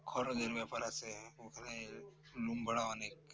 খরচের ব্যাপার আছে ওখানে room ভাড়া অনেক